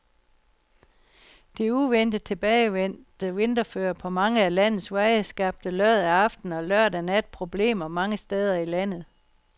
Det uventet tilbagevendte vinterføre på mange af landets veje skabte lørdag aften og lørdag nat problemer mange steder i landet.